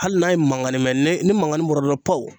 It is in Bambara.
Hali n'a ye maŋani mɛ ne ni maŋani bɔra dɔrɔ pawu